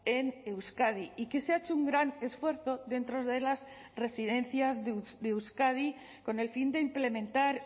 en euskadi y que se ha hecho un gran esfuerzo dentro de las residencias de euskadi con el fin de implementar